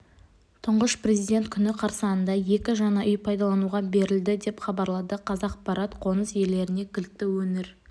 тұңғыш президент күні қарсаңында екі жаңа үй пайдалануға берілді деп хабарлады қазақпарат қоныс иелеріне кілтті өңір